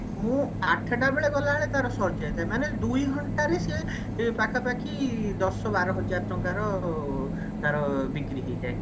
ମୁଁ ଆଠଟା ବେଳେ ଗଲାବେଳେ ତାର ସରିଯାଇଥାଏ ମାନେ ଦୁଇ ଘଣ୍ଟା ରେ ସିଏ ପାଖାପାଖି ଦଶବାରହାଜର ଟଙ୍କାର ଉ ବିକ୍ରି ହେଇଯାଏ